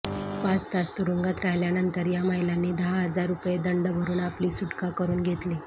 पाच तास तुरुंगात राहिल्यानंतर या महिलांनी दहा हजार रुपये दंड भरून आपली सुटका करून घेतली